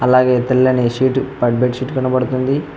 అలాగే తెల్లని సీటు భద్ బెడ్ షీట్ కనపడుతుంది.